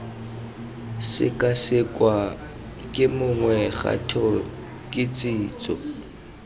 sekasekwa ke mongwe kgato kitsiso